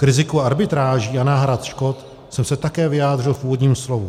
K riziku arbitráží a náhrad škod jsem se také vyjádřil v úvodním slovu.